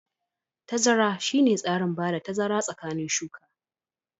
Tazara shine tsarin bada tazara tsakanin shuka.